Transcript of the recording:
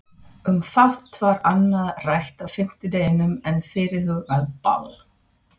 Um fátt var annað rætt á fimmtudeginum en fyrirhugað ball.